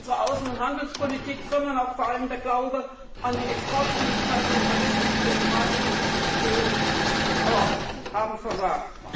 Nicht nur unsere Außen und Handelspolitik, sondern vor allem auch der Glaube an die Exportfähigkeit unserer westlichen demokratischen Institutionen hat versagt.